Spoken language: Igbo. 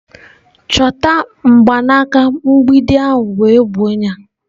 Chọta mgbanaka mgbidi ahụ wee gbuo ya!.